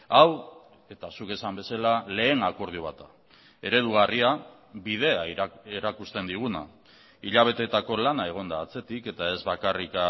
hau eta zuk esan bezala lehen akordio bat da eredugarria bidea erakusten diguna hilabeteetako lana egon da atzetik eta ez bakarrik